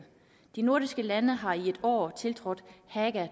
de nordiske lande har i år tiltrådt haga